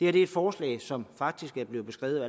er et forslag som faktisk blev beskrevet